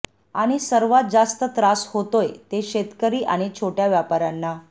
आणि सर्वात जास्त त्रास होतोय ते शेतकरी आणि छोट्या व्यापाऱ्यांना